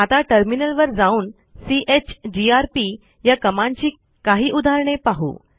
आता टर्मिनलवर जाऊन चीजीआरपी या कमांडची काही उदाहरणे पाहू